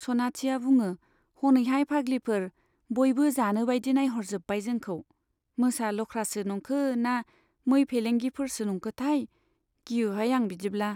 सनाथिया बुङो हनैहाय फाग्लिफोर, बयबो जानोबाइदि नाइह'रजोब्बाय जोंखौ, मोसा लख्रासो नंखो ना मै भेलेंगिफोरसो नंखोथाय , गियोहाय आं बिदिब्ला।